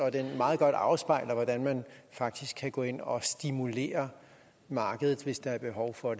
at den meget godt afspejler hvordan man faktisk kan gå ind og stimulere markedet hvis der er behov for